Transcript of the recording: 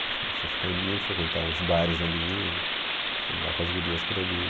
A gente começou a ficar amigo, frequentar os bares ali, andar com as gurias por ali.